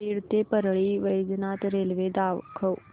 बीड ते परळी वैजनाथ रेल्वे दाखव